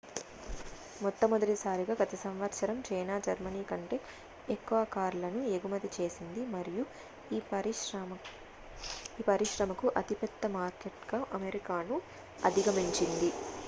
మొట్టమొదటిసారిగా గత సంవత్సరం చైనా జర్మనీ కంటే ఎక్కువ కార్లను ఎగుమతి చేసింది మరియు ఈ పరిశ్రమకు అతిపెద్ద మార్కెట్గా అమెరికాను అధిగమించింది